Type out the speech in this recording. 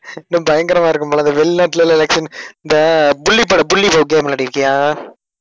இன்னும் பயங்கரமா இருக்கும் போல இருக்கு இந்த வெளிநாட்டுல இல்ல election இந்த game விளையாடியிருக்கியா